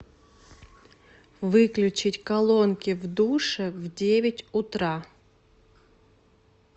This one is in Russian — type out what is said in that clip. выключить колонки в душе в девять утра